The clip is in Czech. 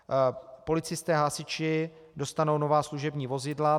Policisté, hasiči dostanou nová služební vozidla.